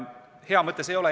Hea mõte see ei ole.